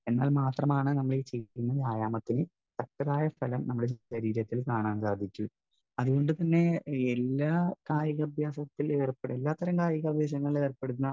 Speaker 1 എന്നാൽ മാത്രമാണ് നമ്മുടെ ചെയ്യുന്ന വ്യായാമത്തിന് തക്കതായ ഫലം നമ്മുടെ ശരീരത്തിൽ കാണാൻ സാധിക്കൂ. അതുകൊണ്ടുതന്നെ എല്ലാ കായികാഭ്യാസത്തിലും ഏർപ്പെ, എല്ലാത്തരം കായികാഭ്യാസത്തിലും ഏർപ്പെടുന്ന